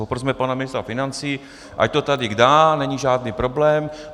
Poprosme pana ministra financí, ať to sem dá, není žádný problém.